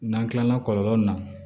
N'an kilala kɔlɔlɔ nunnu na